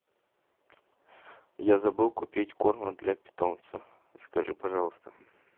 я забыл купить корма для питомца закажи пожалуйста